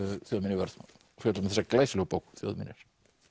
þjóðminjavörð og fjöllum um þessa glæsilegu bók þjóðminjar